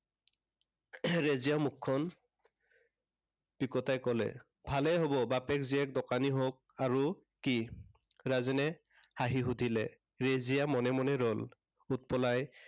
ৰেজিয়াই মুখখন বিকটাই কলে। ভালেই হব বাপেক জীয়েক দোকানী হওঁক আৰু কি? ৰাজেনে হাঁহিলে। ৰেজিয়া মনে মনে ৰল। উৎপলাই